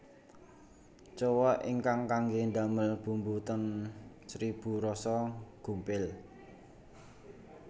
Cowek ingkang kangge ndamel bumbu ten Seribu Rasa gumpil